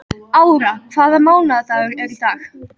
Ára, hvaða mánaðardagur er í dag?